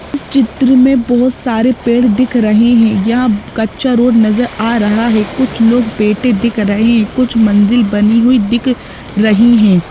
इस चित्र में बोहोत सारे पेड़ दिख रहे हैं यहाँ कच्चा रोड नजर आ रहा है कुछ लोग बैठे दिख रहे हैं कुछ मंजिल बनी हुई दिख रही हैं।